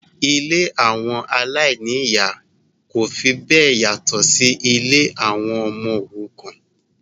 Ilé àwọn aláìní-ìyá kò fi bẹ́ẹ̀ yàtọ̀ sí si ilé àwọn ọmọ òrukàn